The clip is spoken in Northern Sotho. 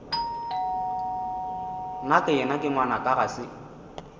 nakeyena ke ngwanaka ga se